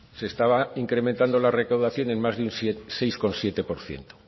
se estaba incrementando la recaudación en más de seis coma siete por ciento